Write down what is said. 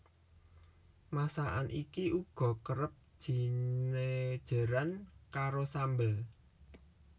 Masakan iki uga kerep jinejeran karo sambel